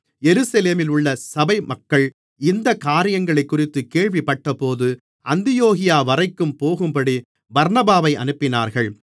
எருசலேமிலுள்ள சபைமக்கள் இந்தக் காரியங்களைக்குறித்துக் கேள்விப்பட்டபோது அந்தியோகியாவரைக்கும் போகும்படி பர்னபாவை அனுப்பினார்கள்